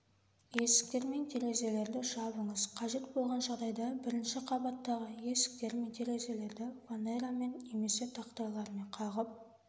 есіктер мен терезелерді жабыңыз қажет болған жағдайда бірінші қабаттағы есіктер мен терезелерді фанерамен немесе тақтайлармен қағып